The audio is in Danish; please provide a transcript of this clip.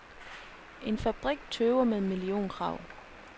En fabrik tøver med millionkrav.